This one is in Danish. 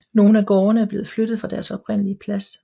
Nogle af gårdene er blevet flyttet fra deres oprindelig plads